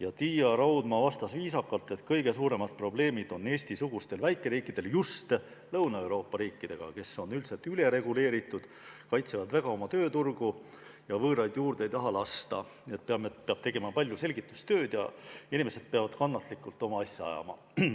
ja Tiia Raudma vastas viisakalt, et kõige suuremad probleemid on Eesti-sugustel väikeriikidel just Lõuna-Euroopa riikidega, kes on üldiselt ülereguleeritud, kaitsevad väga oma tööturgu ja võõraid juurde ei taha lasta, enamasti peab tegema palju selgitustööd ja inimesed peavad kannatlikult oma asja ajama.